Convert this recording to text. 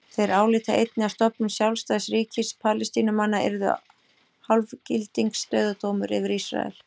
Þeir álíta einnig að stofnun sjálfstæðs ríkis Palestínumanna yrði hálfgildings dauðadómur yfir Ísrael.